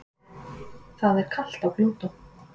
það er kalt á plútó